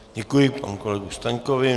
Děkuji panu kolegovi Staňkovi.